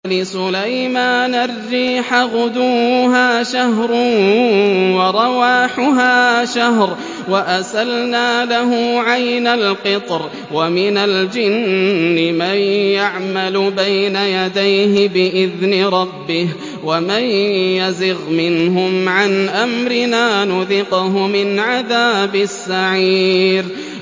وَلِسُلَيْمَانَ الرِّيحَ غُدُوُّهَا شَهْرٌ وَرَوَاحُهَا شَهْرٌ ۖ وَأَسَلْنَا لَهُ عَيْنَ الْقِطْرِ ۖ وَمِنَ الْجِنِّ مَن يَعْمَلُ بَيْنَ يَدَيْهِ بِإِذْنِ رَبِّهِ ۖ وَمَن يَزِغْ مِنْهُمْ عَنْ أَمْرِنَا نُذِقْهُ مِنْ عَذَابِ السَّعِيرِ